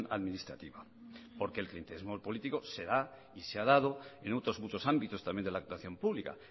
administrativa porque el clientelismo político se da y se ha dado en otros muchos ámbitos también de la actuación pública